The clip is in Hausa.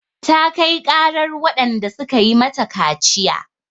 Ta kai ƙarar waɗanda suka yi mata kaciya.